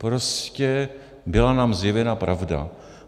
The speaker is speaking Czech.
Prostě byla nám zjevena pravda.